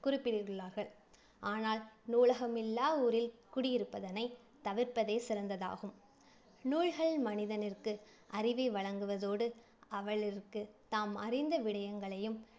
குறிப்பிட்டுள்ளார்கள். ஆனால் நூலகம் இல்லா ஊரில் குடியிருப்பதனை தவிர்ப்பதே சிறந்ததாகும். நூல்கள் மனிதனிற்கு அறிவை வழங்குவதோடு, அவளிற்கு தாம் அறிந்த விடயங்களையும்